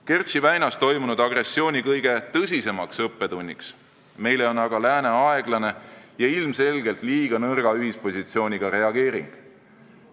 Kertši väinas toimunud agressiooni kõige tõsisem õppetund meile on aga lääne aeglane ja ilmselgelt liiga nõrga ühispositsiooniga reageering.